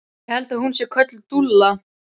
Ég held að hún sé kölluð Dúlla.